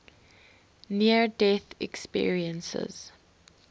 near death experiences